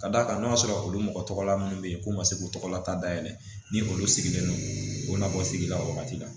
Ka d'a kan n'a sɔrɔ olu mɔgɔ tɔgɔ la minnu bɛ yen k'u ma se k'u tɔgɔlata dayɛlɛ ni olu sigilen don u bɛ na bɔ sigidaw wagati la